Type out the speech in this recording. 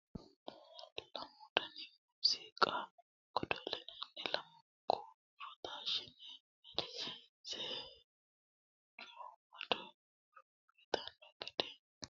Lamu dani muziiqa godo'linanni lamunku huuro taashshine amadisiise coomado huuro uyittano gede assinanni sirbunna faarsote qixxawo qooxxeesira, tenera kayinni sokkote badhooshi heeranoha dilawanoe.